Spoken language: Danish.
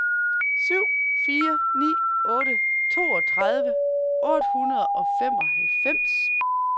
syv fire ni otte toogtredive otte hundrede og femoghalvfems